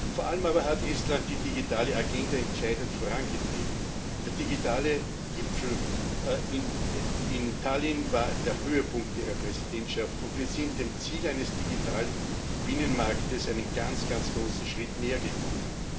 Vor allem aber hat Estland die digitale Agenda entscheidend vorangetrieben. Der digitale Gipfel in Tallinn war der Höhepunkt Ihrer Präsidentschaft, und wir sind dem Ziel eines digitalen Binnenmarkts einen ganz, ganz großen Schritt nähergekommen.